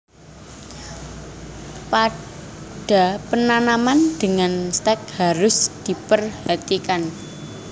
Pada penanaman dengan stek harus diperhatikan